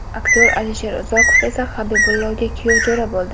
Aktyor Alisher Uzoqov esa Habibullaga kuyovjo‘ra bo‘ldi.